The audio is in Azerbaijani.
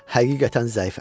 Həqiqətən zəifəm.